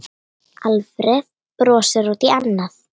Alfreð brosir út í annað.